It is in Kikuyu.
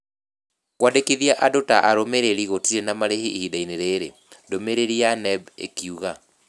Kũandĩkithia andũ ta arũmĩrĩri gũtirĩ na marĩhi Ihinda-inĩ rĩrĩ, ndũmĩrĩri ya NEB ĩkiuga.